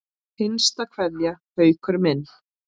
HINSTA KVEÐJA Haukur minn.